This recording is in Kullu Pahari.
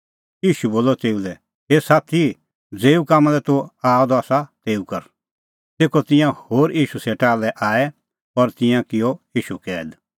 ईशू बोलअ तेऊ लै हे साथी ज़ेऊ कामां लै तूह आअ द आसा तेऊ कर तेखअ तिंयां होर ईशू सेटा लै आऐ और तिन्नैं किअ ईशू कैद